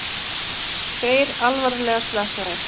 Tveir alvarlega slasaðir